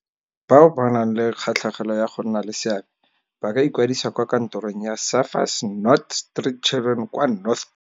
Bao ba nang le kgatlhegelo ya go nna le seabe ba ka ikwadisa kwa kantorong ya Surfers Not Street Children kwa North Beach.